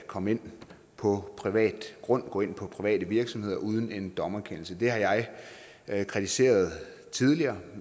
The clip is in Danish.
komme ind på privat grund og ind på private virksomheder uden en dommerkendelse det har jeg jeg kritiseret tidligere